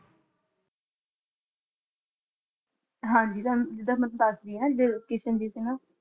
ਹਾਂਜੀ ਜਿਦਾ~ਜਿਦਾ ਮੈਂ ਦਸ ਰਹੀ ਹੈ ਕ੍ਰਿਸ਼ਨ ਜੀ ਸੇ ਨਾ